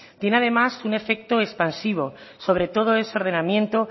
tiene además un efecto expansivo sobre todo ese ordenamiento